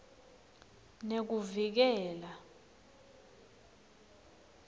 nekuvikela